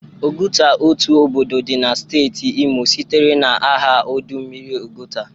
Oguta, otu obodo dị na steeti Imo, sitere na aha ọdụ mmiri Ọgụta.